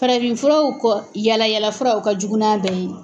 Farafinfuraw kɔ yala yala fura o ka jugu n'a bɛɛ ye.